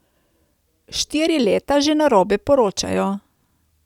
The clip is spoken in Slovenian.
Štiri leta že narobe poročajo.